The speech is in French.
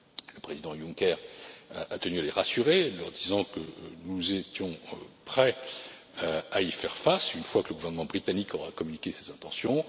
Uni. Le Président Juncker a tenu à les rassurer, leur disant que nous étions prêts à y faire face, une fois que le gouvernement britannique aura communiqué ses intentions.